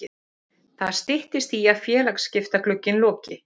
Það styttist í að félagaskiptaglugginn loki.